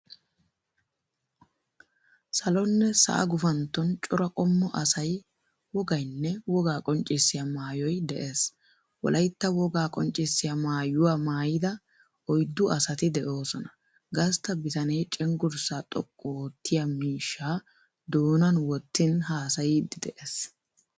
Salonne sa"a guufanton cora qommo asayi, wogaayinne woga qonccissiya maayoyi de"ees. Wolatta woga qonccissiya maayuwa maayidaa oyiddu asaati de"osona. gastta bitaane cenggurssa xooqqu oottiya miishsha doonani woottin haasayidi de"ees